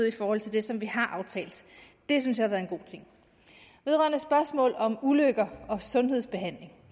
i forhold til det som vi har aftalt det synes jeg er en god ting vedrørende spørgsmål om ulykker og sundhedsbehandling